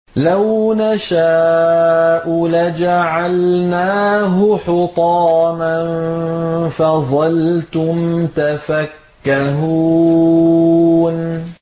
لَوْ نَشَاءُ لَجَعَلْنَاهُ حُطَامًا فَظَلْتُمْ تَفَكَّهُونَ